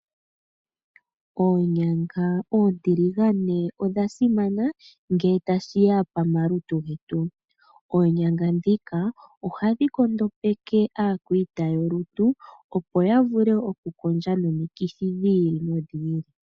Oonyanga oontiligane odha simana ngele tashi ya pamalutu getu. Oonyanga ndhika ohadhi kondopeke aakwaita yolutu opo ya vule okukondja nomikithi dhi ili nodhi ili.